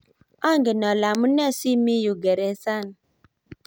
angen ale amunee si mii yu geresani